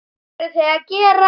Hvað eru þau að gera?